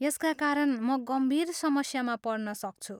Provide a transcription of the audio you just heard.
यसका कारण म गम्भीर समस्यामा पर्न सक्छु।